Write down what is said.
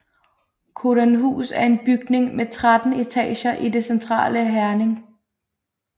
Codanhus er en bygning med 13 etager i det centrale Herning